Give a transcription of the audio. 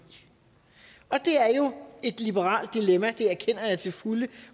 og det er jo et liberalt dilemma det erkender jeg til fulde